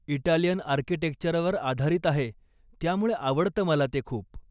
Italian आर्किटेक्चरवर आधारित आहे, त्यामुळे आवडतं मला ते खूप.